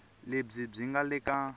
lebyi byi nga le ka